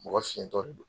Mɔgɔ fintɔ de don